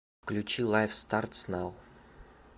включи лайф стартс нау